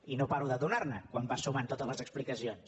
i no pa·ro de donar·ne quan vas sumant totes les explicacions